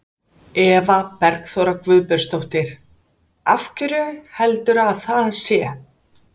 Eva Bergþóra Guðbergsdóttir: Af hverju heldurðu að það sé?